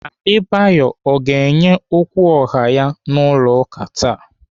Adebayo ọ ga-enye okwu ọha ya n'ụlọ ụka taa?